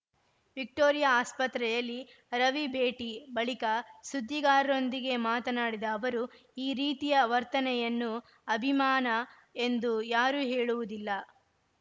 Victoria ಆಸ್ಪತ್ರೆಯಲ್ಲಿ ರವಿ ಭೇಟಿ ಬಳಿಕ ಸುದ್ದಿಗಾರರೊಂದಿಗೆ ಮಾತನಾಡಿದ ಅವರು ಈ ರೀತಿಯ ವರ್ತನೆಯನ್ನು ಅಭಿಮಾನ ಎಂದೂ ಯಾರೂ ಹೇಳುವುದಿಲ್ಲ